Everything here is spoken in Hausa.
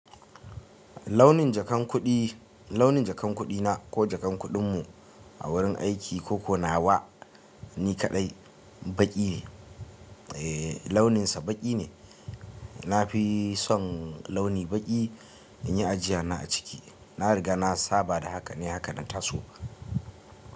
Launin jakan kuɗi, launin jakan kuɗi na ko jakan kuɗin mu a wurin aiki ko ko nawa ni kaɗai baƙi ne, eh launinsa baƙi ne. Na fi son launi baƙi in yi ajiyana a ciki. Na riga na saba da haka ne, haka na taso.